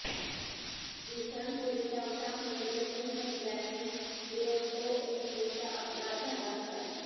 दिवसापूर्वी पावसामुळे जमीन खचल्याने दुरंतो एक्स्प्रेसचा अपघात झाला होता